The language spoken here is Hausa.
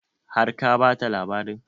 Har ka bata labarin?